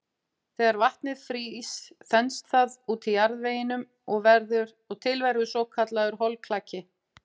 Þegar vatnið frýst þenst það út í jarðveginum og til verður svokallaður holklaki.